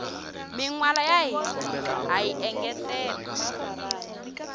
minwala ya hina hayi engetela